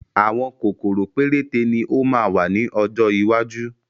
Àwọn kòkòrò péréte ni ó máa wà ní ọjọ́ iwájú